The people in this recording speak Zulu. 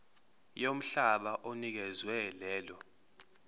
yomhlaba onikezwe lelo